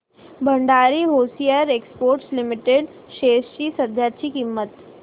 Bhandari hosiery exports limited shares ची सध्याची किंमत